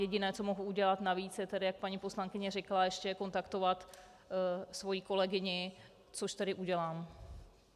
Jediné, co mohu udělat navíc, je tedy, jak paní poslankyně řekla, ještě kontaktovat svoji kolegyni, což tedy udělám.